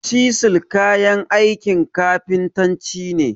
Cisil kayan aikin kafintanci ne.